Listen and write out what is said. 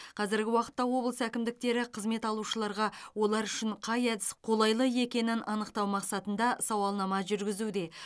қазіргі уақытта облыс әкімдіктері қызмет алушыларға олар үшін қай әдіс қолайлы екенін анықтау мақсатында сауалнама жүргізуде